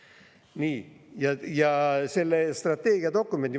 Nii, ja selle strateegiadokumendi …